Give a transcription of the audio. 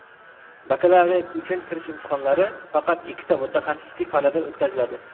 Bakalavriat uchun kirish imtihonlari faqat ikkita mutaxassislik fanidan o‘tkaziladi.